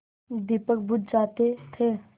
दीपक बुझ जाते थे